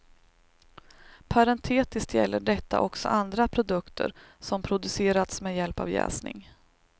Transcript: Parentetiskt gäller detta också andra produkter som producerats med hjälp av jäsning.